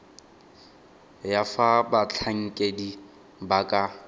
ya fa batlhankedi ba ka